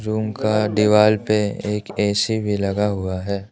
उनका दीवाल पे एक ए सी भी लगा हुआ है।